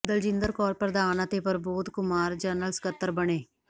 ਦਲਜਿੰਦਰ ਕੌਰ ਪ੍ਰਧਾਨ ਅਤੇ ਪ੍ਰਬੋਧ ਕੁਮਾਰ ਜਨਰਲ ਸਕੱਤਰ ਬਣੇ